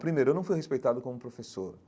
Primeiro, eu não fui respeitado como professor.